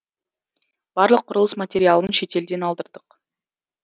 барлық құрылыс материалын шетелден алдырдық